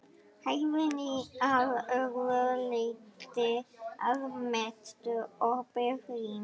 Hæðin að öðru leyti að mestu opið rými.